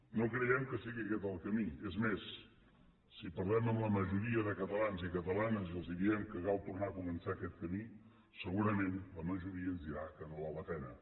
no creiem que sigui aquest el camí és més si parlem amb la majoria de catalans i catalanes i els diem que cal tornar a començar aquest camí segurament la majoria ens dirà que no val la pena